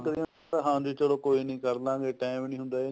ਚੱਕਦੇ ਐ ਹਾਂਜੀ ਚੱਲੋ ਕੋਈ ਨੀ ਕਰਲਾਂਗੇ time ਨੀ ਹੁੰਦਾ